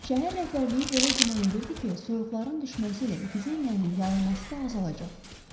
Şəhər rəhbərliyi belə güman edirdi ki, soyuqların düşməsi ilə epidemiyanın yayılması da azalacaq.